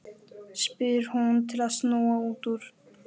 spyr hún til að snúa út úr.